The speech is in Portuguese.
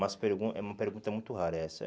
umas pergun é uma pergunta muito rara essa.